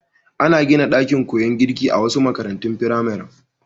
Ana gina ɗakin koyon girki a wasu makarantun firamaren.